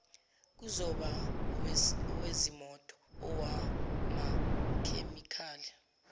kuzoba owezimoto owamakhemikhali